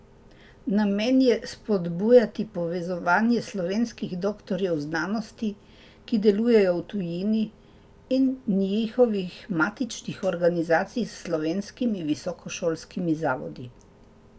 Namen je spodbujati povezovanje slovenskih doktorjev znanosti, ki delujejo v tujini, in njihovih matičnih organizacij s slovenskimi visokošolskimi zavodi.